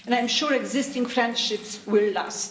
I'm sure existing friendships will last.